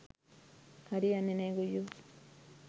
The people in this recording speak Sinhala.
හරි යන්නෙ නෑ ගොයියො.